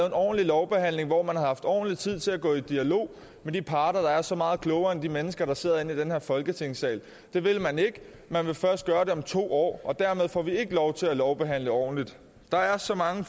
en ordentlig lovbehandling hvor man havde haft ordentlig tid til at gå i dialog med de parter der er så meget klogere end de mennesker der sidder inde i den her folketingssal det vil man ikke man vil først gøre det om to år og dermed får vi ikke lov til at lovbehandle ordentligt der er så mange